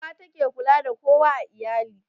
Uwa ta ke kula da kowa a iyali